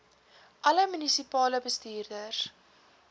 alle munisipale bestuurders